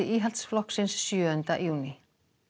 Íhaldsflokksins sjöunda júní